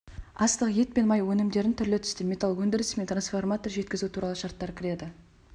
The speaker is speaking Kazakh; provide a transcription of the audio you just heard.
астық ет пен май өнімдерін түрлі түсті металл өндірісі мен трансформатор жеткізу туралы шарттар кіреді